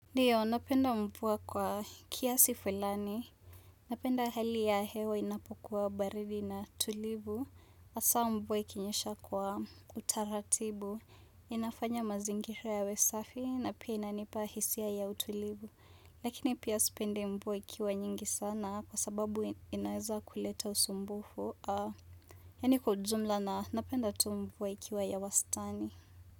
Ndiyo, napenda mvua kwa kiasi fulani. Napenda hali ya hewa inapokuwa baridi na tulivu. Haswa mvua ikinyesha kwa utaratibu. Inafanya mazingira yawe safi na pia inanipa hisia ya utulivu. Lakini pia sipendi mvua ikiwa nyingi sana kwa sababu inaweza kuleta usumbufu. Yaani kwa ujumla na napenda tu mvua ikiwa ya wastani.